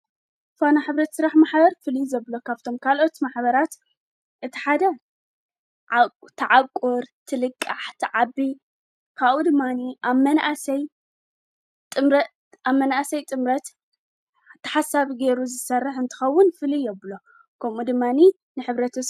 ፈና ሕብረ ስራሕ መሕበር ፉሉይ ዘብሎ ካብቶም ካልኦት ማኅበራት እቲሓደ ተዓቑር ትልቃሕ ተዓቢ ካኡ ድማኒ ኣብ መናእሰይ ጥምረት ተሓሳብ ገይሩ ዝሠርሕ እንትኸውን ፍል የብሎ ከምኡ ድማኒ